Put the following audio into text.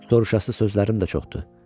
Soruşası sözlərim də çoxdur.